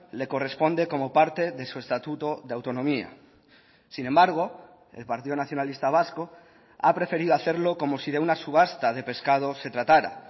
le corresponde como parte de su estatuto de autonomía sin embargo el partido nacionalista vasco ha preferido hacerlo como si de una subasta de pescados se tratara